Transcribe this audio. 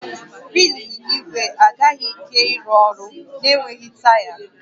Wịịlụ ịnyịnya ígwè agaghị ike ịrụ ọrụ na-enweghị taya